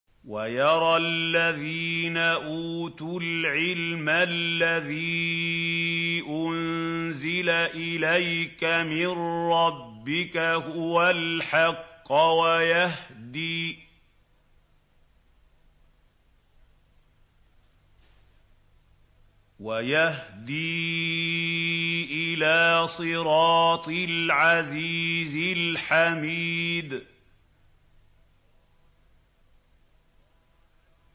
وَيَرَى الَّذِينَ أُوتُوا الْعِلْمَ الَّذِي أُنزِلَ إِلَيْكَ مِن رَّبِّكَ هُوَ الْحَقَّ وَيَهْدِي إِلَىٰ صِرَاطِ الْعَزِيزِ الْحَمِيدِ